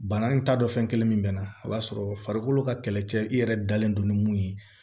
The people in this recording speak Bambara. Bana in ta dɔn fɛn kelen min mɛ na o b'a sɔrɔ farikolo ka kɛlɛcɛ i yɛrɛ dalen don ni mun ye